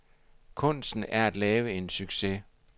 Kunsten er at lave en succes.